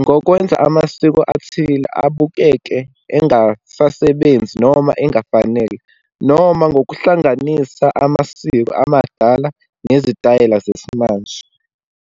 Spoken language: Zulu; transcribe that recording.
ngokwenza amasiko athile ubukeke engasasebenzi, noma engafanele, noma ngokuhlanganisa amasiko amadala nezitayela zesimanje.